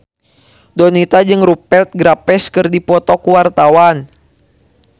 Donita jeung Rupert Graves keur dipoto ku wartawan